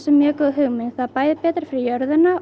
mjög góð hugmynd það er bæði betra fyrir jörðina og